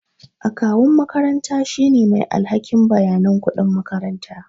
Akawun makaranta shine mai alhakin bayanan kuɗin makaranta